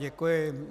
Děkuji.